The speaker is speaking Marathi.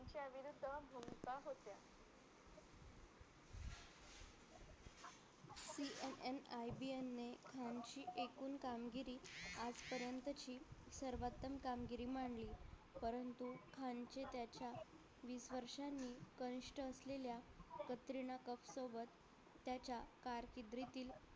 full कामगिरी आजपर्यंतची सर्वोत्तम कामगिरी म्हणली परंतु खान चे त्याच्या असलेल्या कतरीना कैफ सोबत त्याच्या